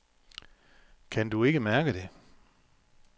Kan du ikke mærke det?